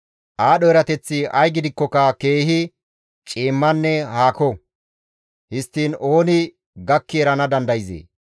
Aadho erateththi ay gidikkoka keehi ciimmanne haako; histtiin ooni gakki erana dandayzee?